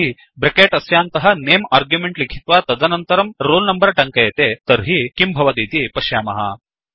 यदि ब्रेकेट् अस्यान्तः name argument लिखित्वा तदनन्तरं रोल नम्बर टङ्कयते चेत्तर्हि किं भवतीति पश्यामः